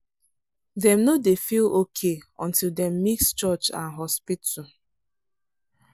dem no dey feel okay until dem mix church and hospital.